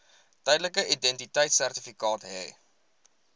tydelike identiteitsertifikaat hê